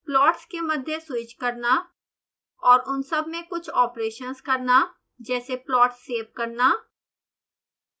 plots के मध्य switch करना और उन सब में कुछ ऑपरेशन्स करना जैसे प्लॉट्स सेव करना